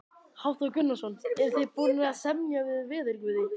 Hafþór Gunnarsson: Eruð þið búnir að semja við veðurguði?